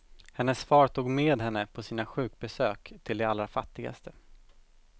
Hennes far tog med henne på sina sjukbesök till de allra fattigaste.